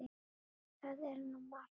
Það er nú margt.